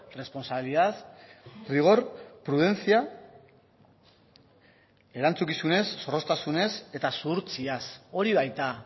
responsabilidad rigor prudencia erantzukizunez zorroztasunez eta zuhurtziaz hori baita